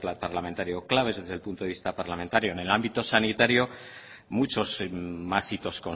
parlamentario claves desde el punto de vista parlamentario en el ámbito sanitario muchos más hitos